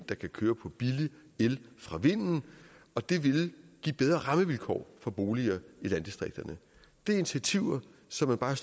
der kan køre på billig el fra vind og det vil give bedre rammevilkår for boliger i landdistrikterne det er initiativer som man bare